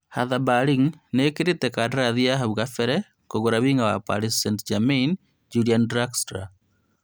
Hartha Berlin nĩetĩkĩrĩte kandarathi ya hau kabere kũgũra wing'a wa Paris St-Germain Julian Draxler